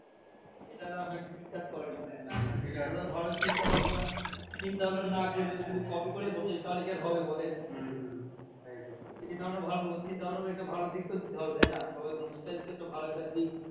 এটা তো হ্যাঁ ঠিক কাজ করেনি ভাইয়া ভালো চিন্তাভাবনা চিন্তাভাবনা না করে যদি শুধু copy করেই বসে তাহলে কি আর হবে বলেন? এইধরণের ভালো চিন্তাভাবনার একটা ভালো দিকতো দিতে হবে তাইনা? সবাইয়ের মানে শিক্ষার ভালো একটা দিক।